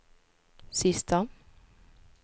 sista